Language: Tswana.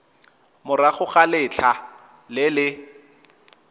morago ga letlha le le